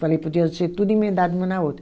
Falei, podia ser tudo emendado uma na outra.